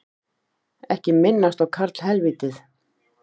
Ekki minnast á karlhelvítið